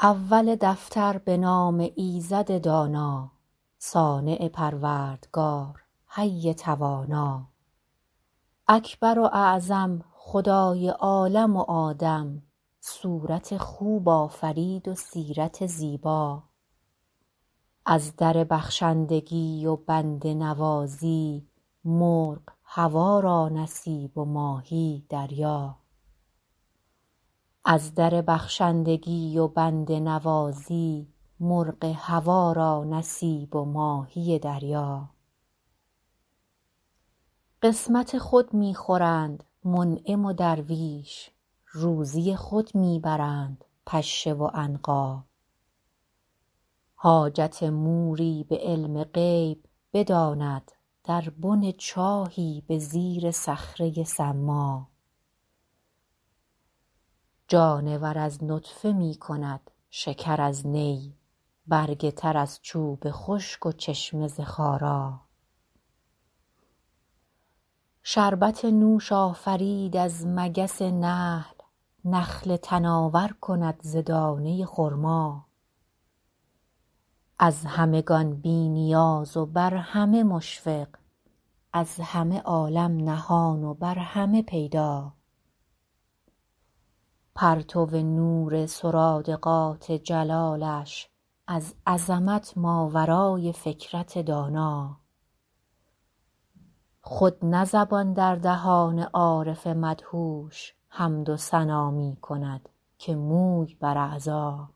اول دفتر به نام ایزد دانا صانع پروردگار حی توانا اکبر و اعظم خدای عالم و آدم صورت خوب آفرید و سیرت زیبا از در بخشندگی و بنده نوازی مرغ هوا را نصیب و ماهی دریا قسمت خود می خورند منعم و درویش روزی خود می برند پشه و عنقا حاجت موری به علم غیب بداند در بن چاهی به زیر صخره ی صما جانور از نطفه می کند شکر از نی برگ تر از چوب خشک و چشمه ز خارا شربت نوش آفرید از مگس نحل نخل تناور کند ز دانه ی خرما از همگان بی نیاز و بر همه مشفق از همه عالم نهان و بر همه پیدا پرتو نور سرادقات جلالش از عظمت ماورای فکرت دانا خود نه زبان در دهان عارف مدهوش حمد و ثنا می کند که موی بر اعضا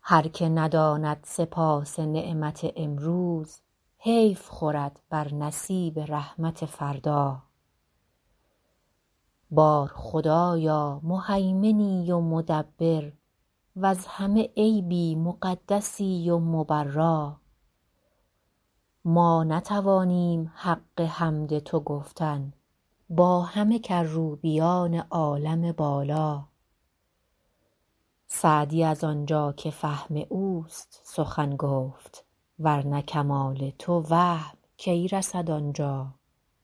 هر که نداند سپاس نعمت امروز حیف خورد بر نصیب رحمت فردا بار خدایا مهیمنی و مدبر وز همه عیبی مقدسی و مبرا ما نتوانیم حق حمد تو گفتن با همه کروبیان عالم بالا سعدی از آنجا که فهم اوست سخن گفت ور نه کمال تو وهم کی رسد آنجا